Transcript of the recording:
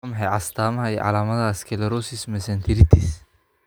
Waa maxay astaamaha iyo calaamadaha sclerosis mesenteritis?